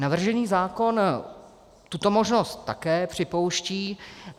Navržený zákon tuto možnost také připouští.